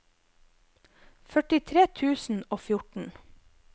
førtitre tusen og fjorten